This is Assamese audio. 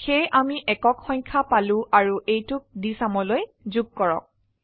সেয়ে আমি একক সংখ্যা পালো অাৰু এইটোক dsumলৈ যোগ কৰক